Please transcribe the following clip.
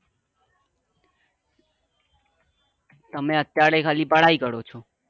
તમે અત્યારે ખાલી પઢાઈ કરો છો?